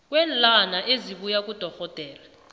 kweenlwana esibuya kudorhodera